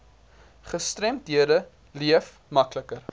gestremdhede leef makliker